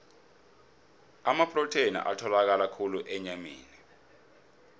amaprotheni atholakala khulu enyameni